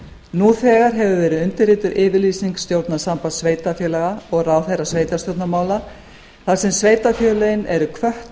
nú þegar hefur verið undirrituð yfirlýsing stjórnar sambands sveitarfélaga og ráðherra sveitarstjórnarmála þar sem sveitarfélögin eru hvött